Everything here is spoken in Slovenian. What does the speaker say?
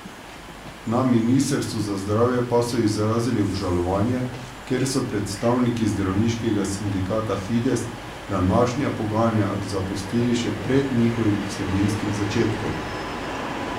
Na ministrstvu za zdravje pa so izrazili obžalovanje, ker so predstavniki zdravniškega sindikata Fides današnja pogajanja zapustili še pred njihovim vsebinskim začetkom.